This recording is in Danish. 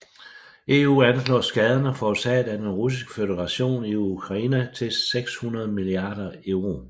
EU anslår skaderne forårsaget af Den Russiske Føderation i Ukraine til 600 milliarder euro